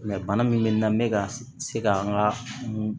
bana min bɛ n na n bɛ ka se ka n ka